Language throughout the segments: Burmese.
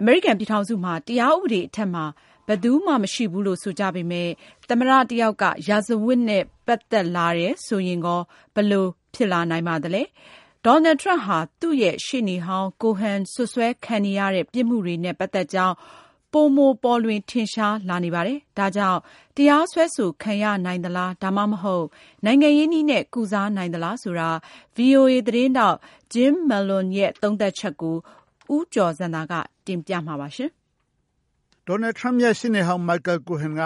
အမေရိကန် ပြည်ထောင်စုမှာ တရားဥပဒေအထက်မှာ ဘယ်သူမှ မရှိဘူးလို့ဆိုကြပေမယ့် သမ္မတ တယောက်က ရာဇဝတ်နဲ့ ပတ်သက်လာတယ်ဆိုရင်ကော ဘယ်လိုဖြစ်လာနိုင်ပါသလဲ။ ဒေါ်နယ် ထရမ့်ဟာ သူ့ရဲ့ရှေ့နေဟောင်း Cohen စွပ်စွဲခံနေရတဲ့ ပြစ်မှုတွေနဲ့ပတ်သက်ကြောင်း ပိုမိုပေါ်လွင် ထင်ရှားလာနေပါတယ်။ ဒါကြောင့် တရားစွဲဆိုခံရနိုင်သလား ဒါမှမဟုတ် နိုင်ငံရေးနည်းနဲ့ ကုစားနိုင် သလားဆိုတာ VOA သတင်းထောက် Jim Malone ရေးတဲ့ သတင်းကို ဦးကျော်ဇံသာက တင်ပြပါမယ်။ Donald Trump ရဲ့ရှေ့နေဟောင်း မိုက်ကယ်လ် ကိုဟင်က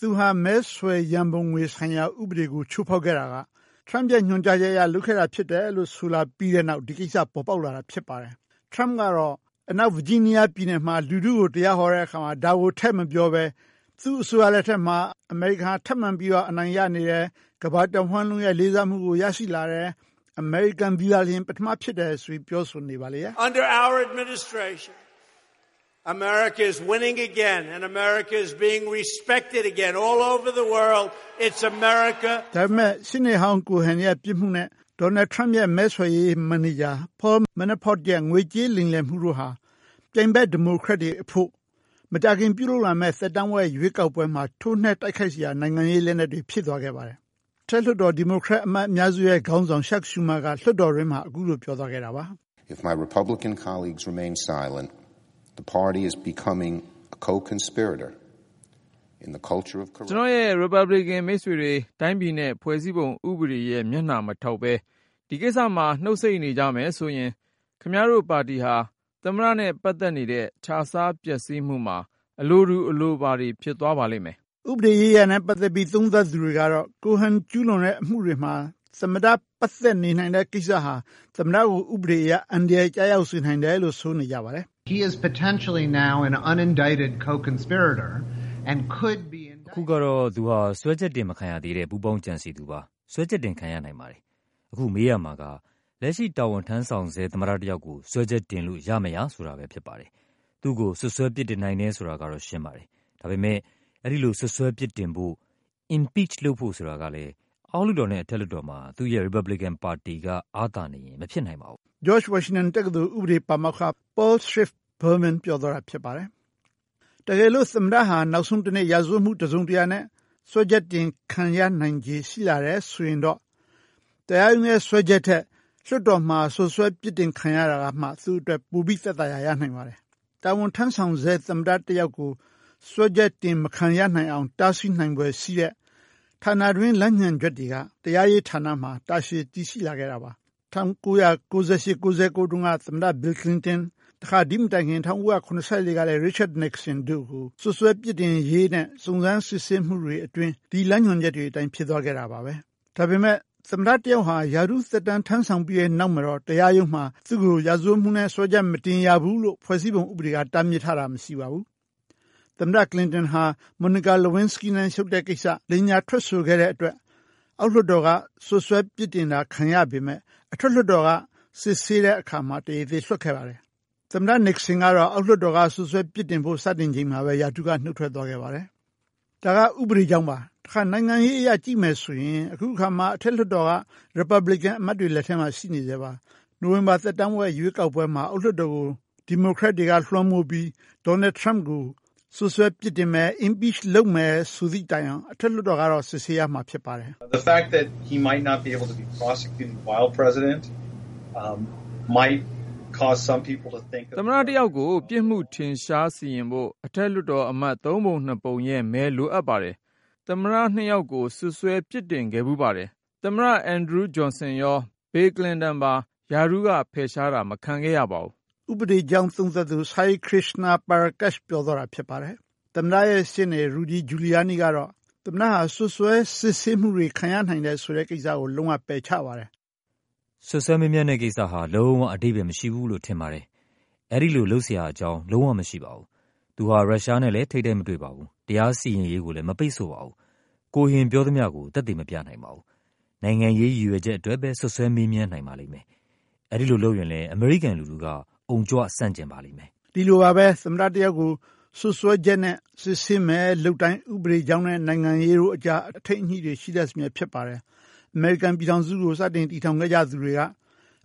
သူဟာ မဲဆွယ် ရန်ပုံငွေဆိုင်ရာ ဥပဒေကို ချိုးဖောက်ခဲ့တာက ထရမ့်ပ်ရဲ့ညွှန်ကြားချက်အရ လုပ်ခဲ့ရတာဖြစ်တယ်လို့ ဆိုလာပြီး တဲ့နောက် ဒီကိစ္စ ပေါ်ပေါက်လာတာ ဖြစ်ပါတယ်။ ထရမ့်ပ်ကတော့ အနောက်ဗာဂျီးနီးယား ပြည်နယ်မှာ လူထုကို တရားဟောတဲ့အခါမှာ ဒါကို ထည့်မပြောဘဲ သူ့အစိုးရလက်ထက်မှာ အမေရိကန်ဟာ ထပ်မံပြီးတော့ အနိုင်ရနေတယ်၊ ကမ္ဘာတဝန်းလုံးရဲ့ လေးစားမှုကို ရရှိလာတယ်၊ အမေရိကန်သည်သာလျှင် ပထမဖြစ်တယ်ဆိုပြီး ပြောဆိုနေပါလေရဲ့။ ဒါပေမယ့် ရှေ့နေဟောင်း ကိုဟင်ရဲ့ပြစ်မှုနဲ့ ဒေါ်နယ်ထရမ့်ပ်ရဲ့ မဲဆွယ်ရေးမန်နေဂျာ ပေါလ် မဲန်နာဖော့ဒ်ရဲ့ ငွေကြေးလိမ်လည်မှုတို့ဟာ ပြိုင်ဘက် ဒီမိုကရက်တွေအဖို့ မကြာခင်ပြုလုပ်လာမယ့် သက်တမ်းဝက်ရွေးကောက်ပွဲမှာ ထိုးနှက်တိုက်ခိုက်စရာ နိုင်ငံရေးလက်နက်တွေ ဖြစ်သွားခဲ့ပါတယ်။ အထက်လွှတ်တော် ဒီမိုကရက်အမတ် အများစုရဲ့ခေါင်းဆောင် ချပ် ရှူးမားက လွှတ်တော်တွင်းမှာ အခုလို ပြောသွားခဲ့တာပါ။ “ကျနော့်ရဲ့ ရီပတ်ဘလီကင်မိတ်ဆွေတွေ တိုင်းပြည်ရဲ့ဖွဲ့စည်းပုံဥပဒေရဲ့မျက်နှာမထောက်ဘဲ ဒီကိစ္စ မှာ နှုတ်ဆိတ်နေကြမယ်ဆိုရင် ခင်ဗျားတို့ပါတီဟာ သမ္မတနဲ့ပတ်သက်နေတဲ့ ခြစားပျက်စီးမှုမှာ အလိုတူ အလိုပါတွေ ဖြစ်သွားပါလိမ့်မယ်။” ဥပဒေရေးရာနဲ့ပတ်သက်ပြီး သုံးသပ်သူတွေကတော့ ကိုဟင်ကျူးလွန်တဲ့အမှုတွေမှာ သမ္မတ ပတ်သက် နေနိုင်တဲ့ ကိစ္စဟာ သမ္မတကို ဥပဒေအရ အန္တရာယ်ကျရောက်စေနိုင်တယ်လို့ ဆိုနေကြပါတယ်။ “အခုကတော့ သူဟာ စွဲချက်တင်မခံရသေးတဲ့ ပူးပေါင်းကြံစည်သူပါ။ စွဲချက်တင်ခံရနိုင်ပါတယ်။ အခု မေးရ မှာက - လက်ရှိတာဝန်ထမ်းဆောင်ဆဲ သမ္မတတယောက်ကို စွဲချက်တင်လို့ ရမရ ဆိုတာပဲဖြစ်ပါတယ်။ သူ့ကို စွပ်စွဲပြစ်တင်နိုင်တယ်ဆိုတာက ရှင်းပါတယ်။ ဒါပေမယ့် အဲဒီလို စွပ်စွဲပြစ်တင်ဖို့ impeach လုပ်ဖို့ဆိုတာကလည်း အောက်လွှတ်တော်နဲ့အထက်လွှတ်တော်မှာ သူ့ရဲ့ ရီပတ်ဘလီကင်ပါတီက အားသာနေရင် မဖြစ်နိုင်ပါဘူး။” ဂျော့ချ် ဝါရှင်တန်တက္ကသိုလ် ဥပဒေပါမောက္ခ ပေါလ်စထရစ်ပ် ဘားမဲန်း ပြောသွားတာ ဖြစ်ပါတယ်။ တကယ်လို့ သမ္မတဟာ နောက်ဆုံးတနေ့ ရာဇဝတ်မှုတစုံတရာနဲ့ စွဲချက်တင်ခံရခြေ ရှိလာတယ်ဆိုရင်တော့ တရားရုံးရဲ့စွဲချက်ထက် လွှတ်တော်မှာ စွပ်စွဲပြစ်တင်ခံရတာကမှ သူ့အတွက် ပိုပြီး သက်သာရာရနိုင်ပါတယ်။ တာဝန်ထမ်းဆောင်ဆဲ သမ္မတတယောက်ကို စွဲချက်တင် မခံရနိုင်အောင် တားဆီးနိုင်ဖွယ်ရှိတဲ့ ဌာနတွင်း လမ်းညွှန်ချက်တွေက တရားရေးဌာနမှာ တာရှည် တည်ရှိလာခဲ့တာပါ။ ၁၉၉၈-၉၉ တုန်းက သမ္မတ ဘီလ်ကလင်တန်၊ တခါ ဒိမတိုင်ခင် ၁၉၇၄ တုန်းကလည်း သမ္မတ ရစ်ချတ်နစ်ဆင်တို့ကို စွပ်စွဲပြစ်တင်ရေးနဲ့ စုံစမ်း စစ်ဆေးမှုတွေအတွင်း ဒီလမ်းညွှန်ချက်တွေအတိုင်း ဖြစ်သွားခဲ့တာပါပဲ။ ဒါပေမယ့် သမ္မတတယောက်ဟာ ရာထူး သက်တမ်း ထမ်းဆောင်ပြီးတဲ့နောက်မှာတော့ တရားရုံးမှာ သူ့ကို ရာဇဝတ်မှုနဲ့စွဲချက်မတင်ရဘူးလို့ ဖွဲ့စည်းပုံက တားမြစ်ထားတာ မရှိပါဘူး။ သမ္မတကလင်တန်ဟာ မော်နီကာ လူဝင်းစကီးနဲ့ရှုပ်တဲ့ကိစ္စ လိမ်ညာထွက်ဆိုခဲ့တဲ့အတွက် အောက်လွှတ်တော်က စွပ်စွဲပြစ်တင်တာ ခံရပေမယ့် အထက်လွှတ်တော်က စစ်ဆေးတဲ့အခါမှာ တရားသေ လွှတ်ခဲ့ပါတယ်။ သမ္မတ နစ်ဆင်ကတော့ အောက်လွှတ်တော်က စွပ်စွဲပြစ်တင်ဖို့စတင်ချိန်မှာပဲ ရာထူးက နုတ်ထွက်ခဲ့ပါတယ်။ ဒါက ဥပဒေကြောင်းပါ။ တခါ နိုင်ငံရေးအရ ကြည့်မယ်ဆိုရင် အခုအခါမှာ အထက်လွှတ်တော်က ရီပတ်ဘလီကင်အမတ်တွေ လက်ထဲမှာ ရှိနေဆဲပါ။ နိုဝင်ဘာ သက်တမ်းဝက်ရွေးကောက်ပွဲမှာ အောက်လွှတ်တော်ကို ဒီမိုကရက်တွေက လွှမ်းမိုးပြီး ဒေါ်နယ်ထရမ့်ပ်ကို စွပ်စွဲပြစ်တင်မယ်၊ impeach လုပ်မယ်ဆိုသည့်တိုင်အောင် အထက်လွှတ်တော်ကတော့ စစ်ဆေးရမှာ ဖြစ်ပါတယ်။ “သမ္မတတယောက်ကို ပြစ်မှုထင်ရှားစီရင်ဖို့ အထက်လွှတ်တော်အမတ် သုံးပုံနှစ်ပုံရဲ့မဲ လိုအပ်ပါတယ်။ သမ္မတနှစ်ယောက်ကို စွပ်စွဲပြစ်တင်ခဲ့ဖူးပါတယ်။ သမ္မတအင်ဒရူးဂျွန်ဆင်ရော၊ သမ္မတ ဘီလ်ကလင်တန်ပါ ရာထူးက ဖယ်ရှားတာ မခံခဲ့ရပါဘူး။” ဥပဒေသုံးသပ်သူ ဆိုင်ယဲန်ခရစ္စနာ ပါရာကက်ရှ် ပြောသွားတာဖြစ်ပါတယ်။ သမ္မတရဲ့ရှေ့နေ ရူဒီ ဂျူလီယားနီး ကတော့ သမ္မတဟာ စွပ်စွဲစစ်ဆေးမှုတွေ ခံရနိုင်တယ်ဆိုတဲ့ကိစ္စကို လုံးဝပယ်ချပါတယ်။ “စွပ်စွဲမေးမြန်းတဲ့ကိစ္စဟာ လုံးဝ အဓိပ္ပာယ် မရှိဘူးလို့ ထင်ပါတယ်။ အဲဒီလို လုပ်စရာအကြောင်း လုံးဝ မရှိပါဘူး။ သူဟာ ရုရှားနဲ့လည်း ထိပ်တိုက် မတွေ့ပါဘူး။ တရားစီရင်ရေးကိုလည်း မပိတ်ဆို့ပါဘူး။ ကိုဟင်ပြောသမျှကို သက်သေ မပြနိုင်ပါဘူး။ နိုင်ငံရေး ရည်ရွယ်ချက်အတွက်ပဲ စွပ်စွဲမေးမြန်းနိုင်ပါလိမ့်မယ်။ အဲဒီလိုလုပ်ရင်လည်း အမေရိကန်လူထုက အုံကြွ ဆန့်ကျင်ပါလိမ့်မယ်။” ဒီလိုပါပဲ၊ သမ္မတတယောက်ကို စွပ်စွဲချက်နဲ့ စစ်ဆေးမယ်လုပ်တိုင်း ဥပဒေကြောင်းနဲ့နိုင်ငံရေးတို့အကြား အထိန်းအညှိတွေ ရှိတတ်စမြဲဖြစ်ပါတယ်။ အမေရိကန်ပြည်ထောင်စုကို စတင် တည်ထောင်ခဲ့ကြသူတွေက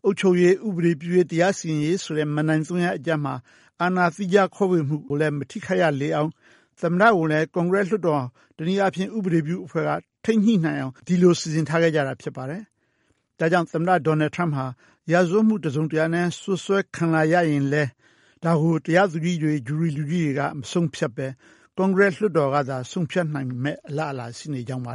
အုပ်ချုပ်ရေး၊ ဥပဒေပြုရေး၊ တရားစီရင်ရေးဆိုတဲ့ မဏ္ဍိုင်သုံးရပ်အကြားမှာ အာဏာသီးခြားခွဲဝေမှုကိုလည်း မထိခိုက်ရလေအောင်၊ သမ္မတကိုလည်း ကွန်ကရက်လွှတ်တော်က တနည်းအားဖြင့် ဥပဒေပြုအဖွဲ့က ထိန်းညှိနိုင်အောင် ဒီလို စီစဉ်ထားခဲ့ကြတာ ဖြစ်ပါတယ်။ ဒါကြောင့် သမ္မတ ဒေါ်နယ်ထရမ့်ပ် ဟာ ရာဇဝတ်မှု တစုံတရာနဲ့ စွပ်စွဲခံလာရရင်လည်း ဒါကို တရားသူကြီးတွေ၊ ဂျူရီလူကြီးတွေက မဆုံးဖြတ်ဘဲ ကွန်ကရက်စ်လွှတ်တော်ကသာ ဆုံးဖြတ်နိုင်မယ့် အလားအလာရှိနေကြောင်းပါ-တ